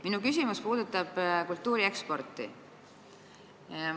Minu küsimus puudutab kultuuri eksporti.